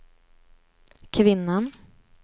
kvinnan